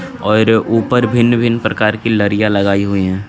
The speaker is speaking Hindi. और उप्पर भिन भिन प्रकार की लरिया लगाई हुई है.